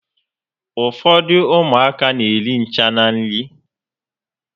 Ụfọdụ ụmụaka n'eri ncha na nri